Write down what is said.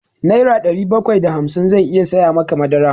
Nera ɗari bakwai da hamsin zai iya saya maka madara.